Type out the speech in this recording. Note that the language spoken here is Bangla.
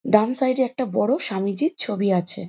ডান সাইডে একটা বড়ো স্বামীজীর ছবি আছে।